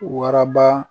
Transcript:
Waraba